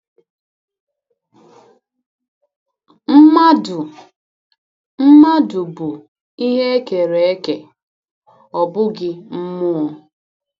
Mmadụ Mmadụ bụ ihe e kere eke, ọ bụghị mmụọ.